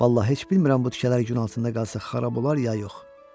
Vallah heç bilmirəm bu tikələr gün altında qalsa xarab olar, ya yox.